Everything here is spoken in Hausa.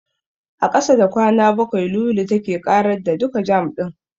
A ƙasa da kwana bakwai, Lulu take ƙarar da duka jam ɗin.